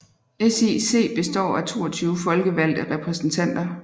SIC består af 22 folkevalgte repræsentanter